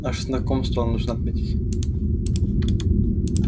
наше знакомство нужно отметить